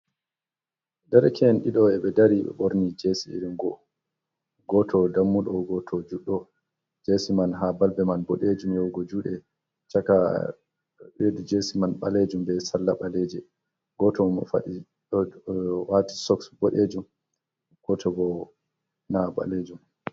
Darakeen ɗido ɓe do dari ɓe borni jesi irin go, goto dammudo, goto juddo. jesi man ha balbe man boɗeejum yahugo juuɗe caka jesi man baleejum be salla ɓaleeje gooto sok boɗeejum goto bo na baleejum.